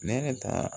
Ne yɛrɛ ta